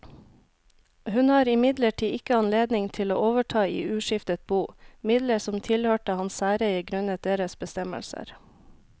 Hun har imidlertid ikke anledning til å overta i uskiftet bo midler som tilhørte hans særeie grunnet deres bestemmelser.